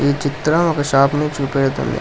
ఈ చిత్రం ఒక షాపు ని చూపెడుతుంది.